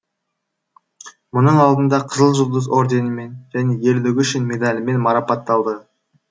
мұның алдында қызыл жұлдыз орденімен және ерлігі үшін медалімен марапатталды